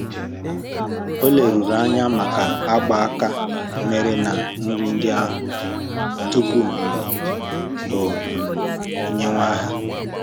Ọ leruru anya maka agba aka mere na nri ndị ahụ um tupu um o um nyèwe ha